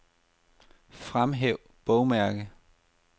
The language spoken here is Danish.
Fremhæv bogmærke.